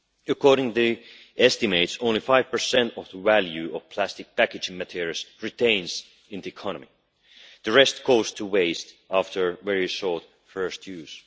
According to the estimates only 5 of the value of plastic packaging materials remains in the economy, the rest goes to waste after a very short first use.